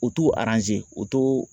U t'o o t'o